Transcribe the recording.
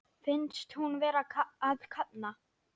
Finnst hún vera að kafna.